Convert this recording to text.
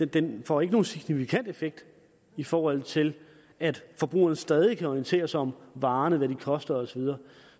den får ikke nogen signifikant effekt i forhold til at forbrugerne stadig kan orientere sig om varerne og hvad de koster og så videre